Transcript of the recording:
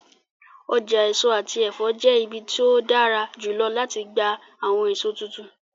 Ọja eso ati ẹfọ jẹ ibi ti o dara julọ lati gba awọn eso tuntun.